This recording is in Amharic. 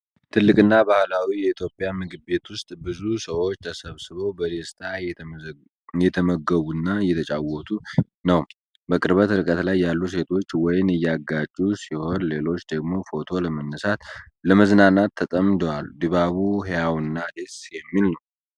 ትልቅና ባህላዊ የኢትዮጵያ ምግብ ቤት ውስጥ ብዙ ሰዎች ተሰብስበው በደስታ እየተመገቡ እና እየተጨዋወቱ ነው። በቅርብ ርቀት ላይ ያሉ ሴቶች ወይን እያጋጩ ሲሆን፣ ሌሎች ደግሞ ፎቶ ለማንሳትና ለመዝናናት ተጠምደዋል። ድባቡ ሕያው እና ደስ የሚል ነው።